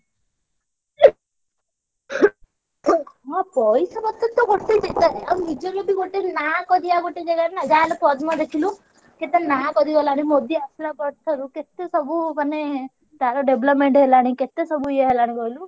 ହଁ ପାଇସାପତ୍ର ତ ନାଁ କରିଆ ଗୋଟେ ଜାଗାରୁ ନାଁ ଆଉ ଯାହାହେଲେ ପଦ୍ମ ଦେଖିଲୁ କେତେ ନାଁ କରିଗଲାଣି ମୋଦୀ ଆସିଲା ପର ଠାରୁ କେତେ ସବୁ ମାନେ ତାର development ହେଲାଣି କେତେ ସବୁ ଏ ହେଲାଣି କହିଲୁ।